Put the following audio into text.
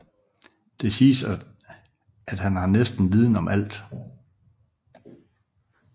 Det siges at han har viden om næsten alt